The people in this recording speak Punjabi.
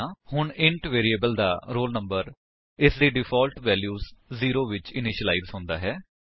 ਹੁਣ ਇੰਟ ਵੈਰਿਏਬਲ ਦਾ roll number ਇਸਦੀ ਡਿਫਾਲਟ ਵੈਲਿਊ ਜ਼ੀਰੋ ਵਿੱਚ ਇਨਿਸ਼ਿਲਾਇਜ ਹੁੰਦਾ ਹੈ